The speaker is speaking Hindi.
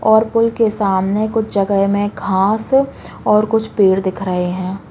और पूल के सामने कुछ जगह में घास और कुछ पेड़ दिख रहे हैं।